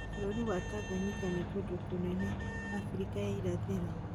Bũrũrinĩ Tanzania na kũndũ kũnene Abirika ya irathĩro